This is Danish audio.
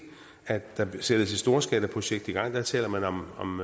at der sættes et storskalaprojekt i gang der taler man om